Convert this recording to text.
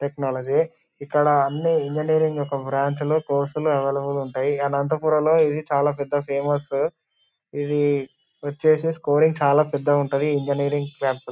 Technology ఇక్కడ అన్ని engineering branch లు కోర్సు లు అవైలబుల్ ఉంటాయి. అనంతపురంలో ఇది చాలా పెద్ద ఫేమసు . ఇవి వచ్చేసి స్కోరింగ్ చాలా పెద్దగుంటది ఇంజినీరింగ్ క్యాంపసు .